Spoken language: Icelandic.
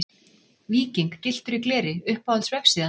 Víking gylltur í gleri Uppáhalds vefsíða?